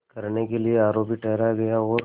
करने के लिए आरोपी ठहराया गया और